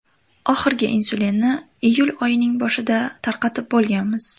Oxirgi insulinni iyul oyining boshida tarqatib bo‘lganmiz.